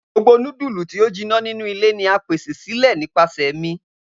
Gbogbo nudulu ti a jinna ninu ile ni a pese sile nipasẹ mi.